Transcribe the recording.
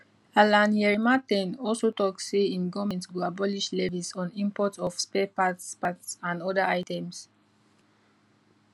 alan kyerema ten also tok say im goment go abolish levies on import of spare parts parts and oda items